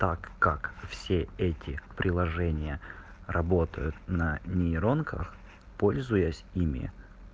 так как все эти приложения работают на нейронках пользуясь ими